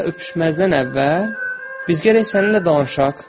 Hələ öpüşməzdən əvvəl biz gərək səninlə danışaq.